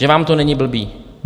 Že vám to není blbý!